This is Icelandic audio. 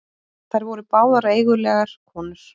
Þær voru báðar eigulegar konur.